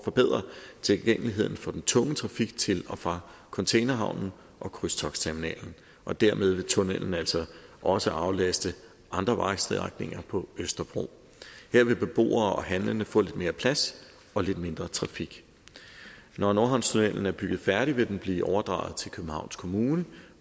forbedre tilgængeligheden for den tunge trafik til og fra containerhavnen og krydstogtterminalen og dermed vil tunnellen altså også aflaste andre vejstrækninger på østerbro her vil beboere og handlende få lidt mere plads og lidt mindre trafik når nordhavnstunnellen er bygget færdig vil den blive overdraget til københavns kommune